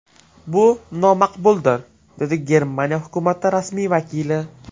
Bu nomaqbuldir”, dedi Germaniya hukumati rasmiy vakili.